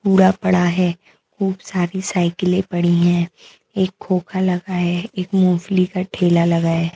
कूड़ा पड़ा है खूब सारी साइकिलें पड़ी हैं एक खोखा लगा है एक मूंगफली का ठेला लगा है।